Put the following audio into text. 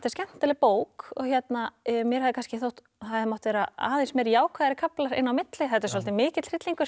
skemmtileg bók mér hefði þótt það hefðu mátt vera aðeins meira jákvæðari kaflar inn á milli þetta er svolítið mikill hryllingur